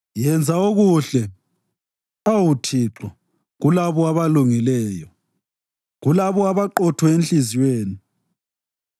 Yenza okuhle, awu Thixo, kulabo abalungileyo, kulabo abaqotho enhliziyweni